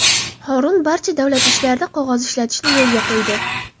Horun barcha davlat ishlarida qog‘oz ishlatishni yo‘lga qo‘ydi.